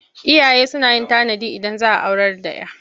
Iyaye suna yin tanadi Idan za a aurar da 'ya.